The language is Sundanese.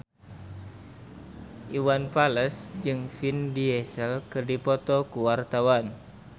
Iwan Fals jeung Vin Diesel keur dipoto ku wartawan